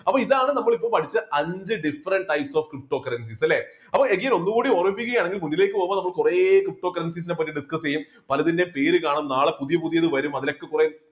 അപ്പോൾ ഇതാണ് നമ്മൾ ഇപ്പോൾ പഠിച്ച അഞ്ച് different types of cryptocurrencies അല്ലേ അപ്പോ again ഒന്നുകൂടി ഓർമ്മിപ്പിക്കുകയാണെങ്കിൽ മുന്നിലേക്ക് പോകുമ്പോൾ നമ്മൾ കുറെ cryptocurrencies പറ്റി discuss ചെയ്യും പലതിന്റെയും പേര് കാണും നാളെ പുതിയ പുതിയ വരും അതിലൊക്കെ കുറെ